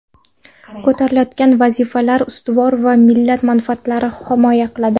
Ko‘tarilayotgan vazifalar ustuvor va millat manfaatlarini himoya qiladi.